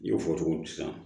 N y'o fɔ cogo di sisan